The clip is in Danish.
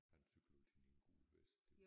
Han cykler altid i en gul vest